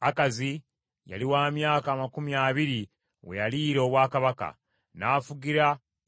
Akazi yali wa myaka amakumi abiri we yaliira obwakabaka, n’afugira